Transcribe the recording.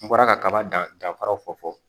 N bɔra kaba dan danfaraw fɔ